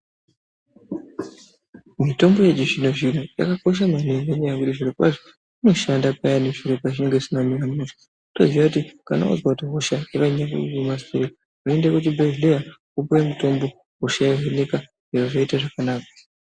Mitombo yechi zvino zvino inokosha maningi ne nyaya yekuti zviro kwazvo inoshanda payani zviro zvisina kumira mushe otoziya kuti kana wazwa kuti hosha yanyanya kuruma stereki woende ku chibhedhleya wopuwe mutombo hosha yo vhenekwa zvobva zvaita zvakanaka.